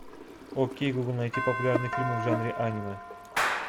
окей гугл найти популярные фильмы в жанре аниме